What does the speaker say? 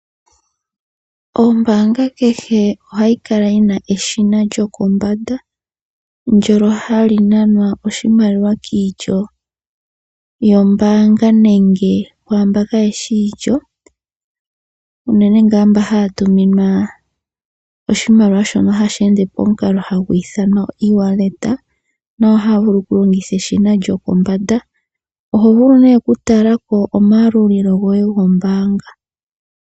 Ombaanga kehe ohayi kala yina eshina lyokombanda ndono hali nanwa oshimaliwa kiilyo yombaanga nenge kwaamboka kayeshi iilyo unene nga mbono haya tuminwa oshimaliwa shono hashi ende pomukalo hagu ithanwa E wallet, nayo ohaya vulu oku longitha eshina lyopombanda. Oho vulu nee okutalako omayalulilo goye gombaanga.